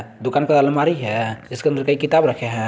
दुकान पर अलमारी है जिसके अंदर कई किताब रखे है।